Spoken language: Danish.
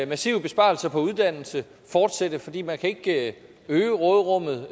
massive besparelser på uddannelse fortsætte fordi man ikke kan øge råderummet